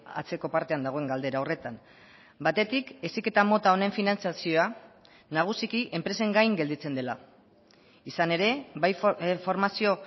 atzeko partean dagoen galdera horretan batetik heziketa mota honen finantzazioa nagusiki enpresen gain gelditzen dela izan ere bai formazio